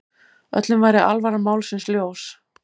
Öllum væri alvara málsins ljós.